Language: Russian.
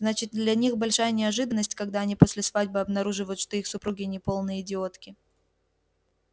значит для них большая неожиданность когда они после свадьбы обнаруживают что их супруги не полные идиотки